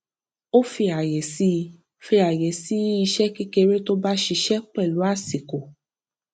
ó fi àyè sí fi àyè sí iṣẹ kékeré tó bá ṣiṣẹ pẹlú àsìkò